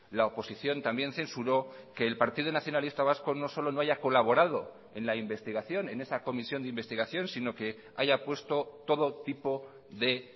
la oposición también censuró que el partido nacionalista vasco no solo no haya colaborado en la investigación en esa comisión de investigación sino que haya puesto todo tipo de